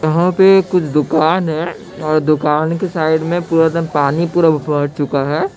दुकान है और दुकान के साइड में पुरा पानी फैल चूका है